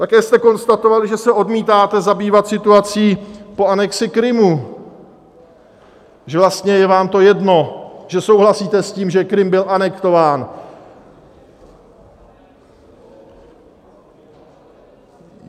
Také jste konstatovali, že se odmítáte zabývat situací po anexi Krymu, že vlastně je vám to jedno, že souhlasíte s tím, že Krym byl anektován.